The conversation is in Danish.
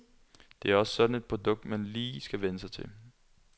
Det er også sådan et produkt, man lige skal vænne sig til.